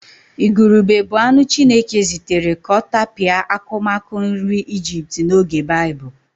Ìgùrùbè bụ anụ Chineke zitere ka ọ tapịa akụmakụ nri Ijipt n'oge Baịbụl.